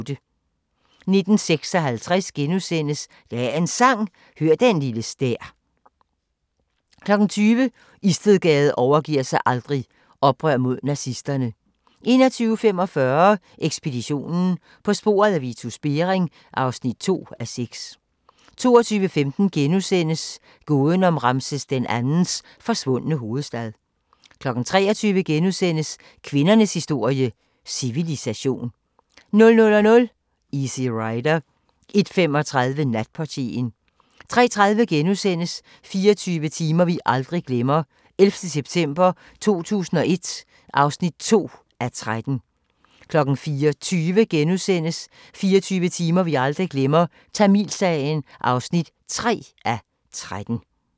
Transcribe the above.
19:56: Dagens Sang: Hør den lille stær * 20:00: Istedgade overgiver sig aldrig - oprør mod nazisterne 21:45: Ekspeditionen - på sporet af Vitus Bering (2:6) 22:15: Gåden om Ramses II's forsvundne hovedstad * 23:00: Kvindernes historie - civilisation * 00:00: Easy Rider 01:35: Natportieren 03:30: 24 timer vi aldrig glemmer – 11. september 2001 (2:13)* 04:20: 24 timer vi aldrig glemmer – Tamilsagen (3:13)*